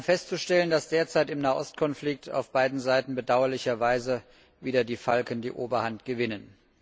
Wir haben festzustellen, dass derzeit im Nahostkonflikt auf beiden Seiten bedauerlicherweise wieder die Falken die Oberhand gewinnen.